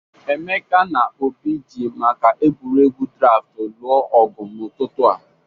Emeka na Obi ji maka egwuregwu draftụ lụọ ọgụ n'ụtụtụ a.